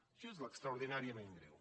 això és l’extraordinàriament greu